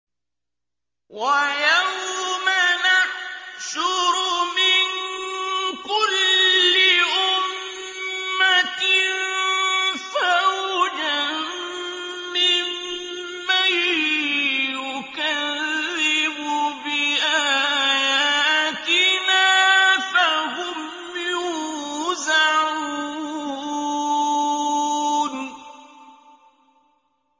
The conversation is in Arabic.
وَيَوْمَ نَحْشُرُ مِن كُلِّ أُمَّةٍ فَوْجًا مِّمَّن يُكَذِّبُ بِآيَاتِنَا فَهُمْ يُوزَعُونَ